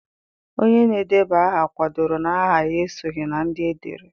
Onye na-edeba aha kwadoro na aha ya esoghị na ndị edere.